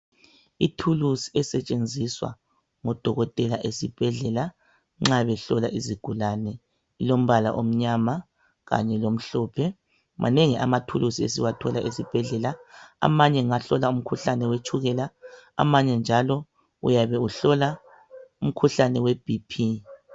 Ithulusi esetshenziswa ngodokotela ezibhedlela nxa behlola izigulane .Ilombala omnyama Kanye lomhlophe manengi amathulusi esiwathola esibhedlela. Amanye ngahlola umkhuhlane wetshukela amanye njalo uyabe uhlola umkhuhlane we BP.